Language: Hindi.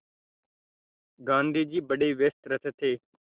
गाँधी जी बड़े व्यस्त रहते थे